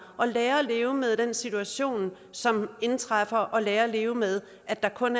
og lære at leve med den situation som indtræffer og lære at leve med at der kun